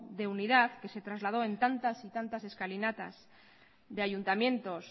de unidad que se trasladó en tantas y tantas escalinatas de ayuntamientos